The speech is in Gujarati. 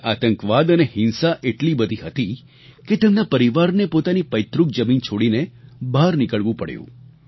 ત્યાં આતંકવાદ અને હિંસા એટલી બધી હતી કે તેમના પરિવારને પોતાની પૈતૃક જમીન છોડીને બહાર નીકળવું પડ્યું